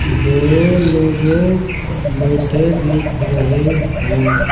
दो लोगों बैठे दिख रहे हैं।